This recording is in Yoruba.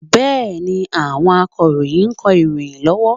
Bẹ́ẹ̀ni, àwọn Akọ̀ròyìn ń kọ ìròyìn lọ́wọ́